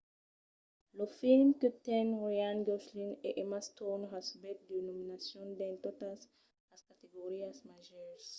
lo film que ten ryan gosling e emma stone recebèt de nominacions dins totas las categorias màgers